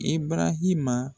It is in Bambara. I barahima